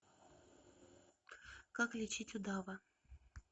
как лечить удава